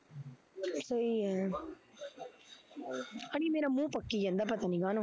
ਸਹੀਂ ਐ ਅੜੀਏ ਮੇਰਾ ਮੂਹ ਪੱਕੀ ਜਾਂਦਾ ਪਤਾ ਨੀ ਕਾਹਨੂੰ